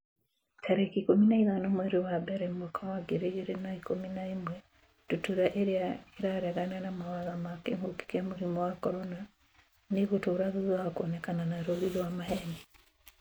tarĩki ikũmi na ithano mweri wa mbere mwaka wa ngiri igĩrĩ na ikũmi na ĩmwe Ndutura irĩa 'ĩraregana na mawatho ma kĩngũki kia mũrimũ wa CORONA nĩ ĩgũtũra thutha wa kuonekana na rũũri rwa maheeni.